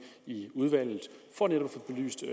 i udvalget for netop